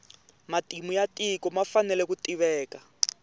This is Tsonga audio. matimu ya tiko ma fanele ku tiveka